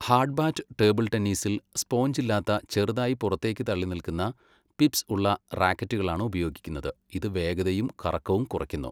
Hardbat table ടെന്നീസിൽ sponge ഇല്ലാത്ത ചെറുതായി പുറത്തേക്ക് തള്ളിനിൽക്കുന്ന പിപ്സ് ഉള്ള റാക്കറ്റുകളാണ് ഉപയോഗിക്കുന്നത്, ഇത് വേഗതയും കറക്കവും കുറയ്ക്കുന്നു.